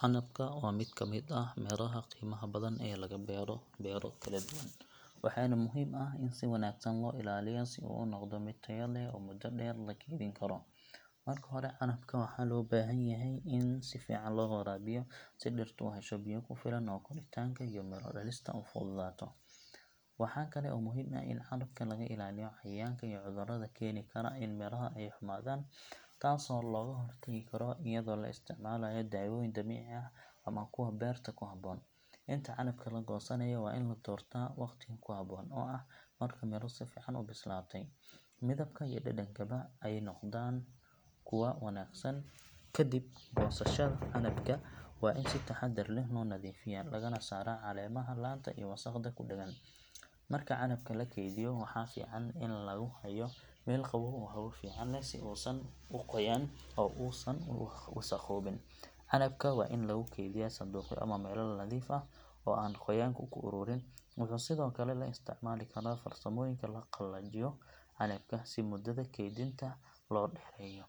Canabka waa mid ka mid ah miraha qiimaha badan ee laga beero beero kala duwan, waxaana muhiim ah in si wanaagsan loo ilaaliyo si uu u noqdo mid tayo leh oo muddo dheer la keydin karo. Marka hore, canabka waxaa loo baahan yahay in si fiican loo waraabiyo, si dhirtu u hesho biyo ku filan oo koritaanka iyo miro dhalista ay u fududaato. Waxaa kale oo muhiim ah in canabka laga ilaaliyo cayayaanka iyo cudurrada keeni kara in miraha ay xumaadaan, taasoo looga hortagi karo iyadoo la isticmaalayo daawooyin dabiici ah ama kuwa beerta ku habboon. Inta canabka la goosanayo waa in la doorto waqtiga ku habboon, oo ah marka miro si fiican u bislaatay, midabka iyo dhadhankaba ay noqdaan kuwo wanaagsan. Ka dib goosashada, canabka waa in si taxadar leh loo nadiifiyaa, lagana saaraa caleemaha, laanta iyo wasakhda ku dhagan. Marka canabka la keydiyo, waxaa fiican in lagu hayo meel qabow oo hawo fiican leh si uusan u qoyan oo uusan u wasakhoobin. Canabka waa in lagu keydiyaa sanduuqyo ama weelal nadiif ah oo aan qoyaanku ku ururin. Waxaa sidoo kale la isticmaali karaa farsamooyinka lagu qalajiyo canabka si muddada kaydinta loo dheereeyo.